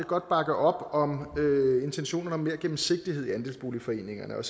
godt bakke op om intentionen om mere gennemsigtighed i andelsboligforeningerne og